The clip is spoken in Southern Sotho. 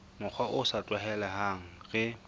mokgwa o sa tlwaelehang re